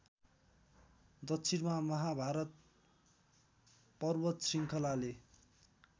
दक्षिणमा महाभारत पर्वतशृङ्खलाले